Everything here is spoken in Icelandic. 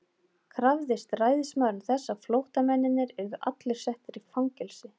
Krafðist ræðismaðurinn þess, að flótta- mennirnir yrðu allir settir í fangelsi.